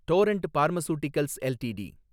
Torrent pharmaceuticals LTD